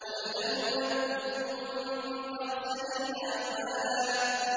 قُلْ هَلْ نُنَبِّئُكُم بِالْأَخْسَرِينَ أَعْمَالًا